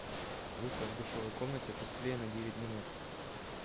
выставь в душевой комнате тусклее на девять минут